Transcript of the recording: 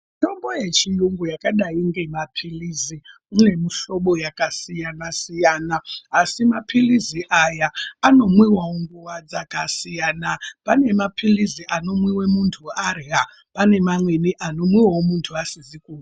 Mithombo yechiyungu yakadai ngemaphilizi ine mihlobo yakasiyanasiyana asi maphilizi aya anomwiwawo nguwa dzakasiyana ,pane maphilizi anomwiwa munthu arya ,pane mamweni anomwiwayo munthu asizi kurya.